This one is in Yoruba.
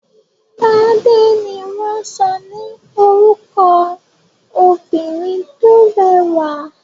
Tádé ni wọ́n sọ ní orúkọ obìnrin tó rẹwà.